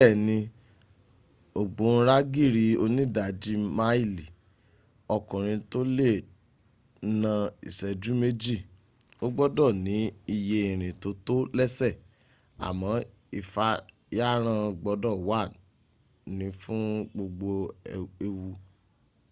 bẹ́ẹ̀ni ògbóǹragìrì onídajì máìlì ọkùnrin tó lè na ìṣẹ́jú méjì ó gbọ́dọ̀ ní iye ìrìn tó tó lẹ́sẹ̀ àmọ́ ìfàyàrán gbọ́dọ̀ wà ní fún gbogbo ewu